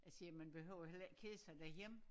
Jeg siger man behøver heller ikke kede sig derhjemme